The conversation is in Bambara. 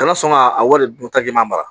Kana sɔn ka a wari dun taji ɲuman mara